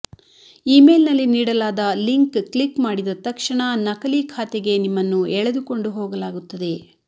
ಇಮೇಲ್ನಲ್ಲಿ ನೀಡಲಾದ link click ಮಾಡಿದ ತಕ್ಷಣ ನಕಲಿ ಖಾತೆಗೆ ನಿಮ್ಮನ್ನು ಎಳೆದುಕೊಂಡು ಹೋಗಲಾಗುತ್ತದೆ